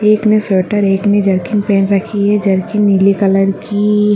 एक ने स्वेटर एक ने जर्किन पहनी हुई है जर्किन नील कलर की--